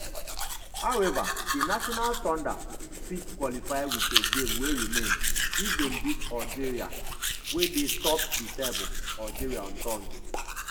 howeva di national thunder fit qualify wit a game wey remain if dem beat algeria wey dey top di table algeria on thursday.